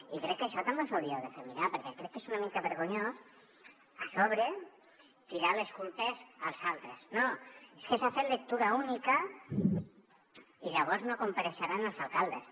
i crec que això també us ho hauríeu de fer mirar perquè crec que és una mica vergonyós a sobre tirar les culpes als altres no és que s’ha fet lectura única i llavors no compareixeran els alcaldes